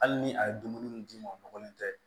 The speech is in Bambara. Hali ni a ye dumuni min d'i ma o nɔgɔlen tɛ